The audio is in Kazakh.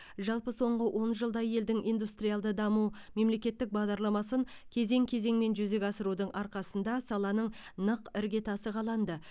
жалпы соңғы он жылда елдің индустриалды даму мемлекеттік бағдарламасын кезең кезеңмен жүзеге асырудың арқасында саланың нық іргетасы қаланды